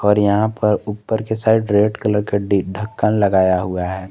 और यहां पर ऊपर के साइड रेड कलर का डी ढक्कन लगाया हुआ है।